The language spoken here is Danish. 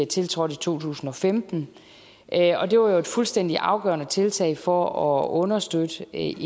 tiltrådte i to tusind og femten og det var jo et fuldstændig afgørende tiltag for at understøtte en